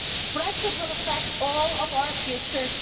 Brexit will affect all of our futures.